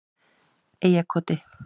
Eyjarkoti